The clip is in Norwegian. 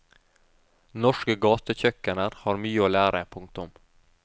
Norske gatekjøkkener har mye å lære. punktum